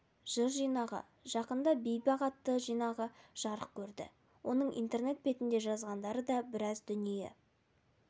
жыр жинағы жақында бейбақ атты жинағы жарық көрді оның интернет бетінде жазғандары да біраз дүние